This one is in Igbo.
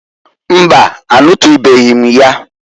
Mbaǃ Anụtụnụbeghị m ya.